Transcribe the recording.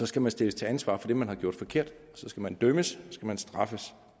skal man stilles til ansvar for det man har gjort forkert og så skal man dømmes så skal man straffes